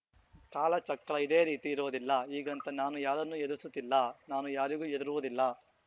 ಕಾಲಚಕ್ರ ಇದೇ ರೀತಿ ಇರುವುದಿಲ್ಲ ಹೀಗಂತ ನಾನು ಯಾರನ್ನೂ ಹೆದರಿಸುತ್ತಿಲ್ಲ ನಾನು ಯಾರಿಗೂ ಹೆದರುವುದು ಇಲ್ಲ